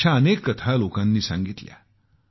अशा अनेक कथा लोकांनी सांगितल्या आहेत